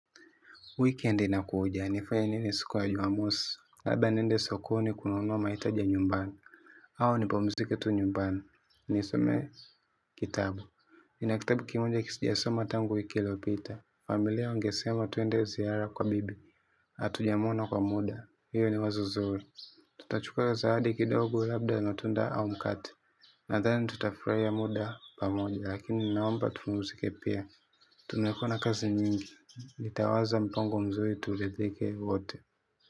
Weekend inakuja, nifanye nini siku ya jumamosi, labda niende sokoni kununua mahitaji ya nyumbani, au nipumzike tu nyumbani, nisome kitabu. Nina kitabu kimoja sijasoma tangu wiki iliopita, familia wangesema tuende ziara kwa bibi, hatujamwona kwa muda, hiyo ni wazo zuri. Tutachukua zawadi kidogo labda matunda au mkate nadhani tutafurahia muda pamoja lakini naomba tupumzike pia. Tumekuwa na kazi nyingi nitawaza mpango mzuri turidhike wote.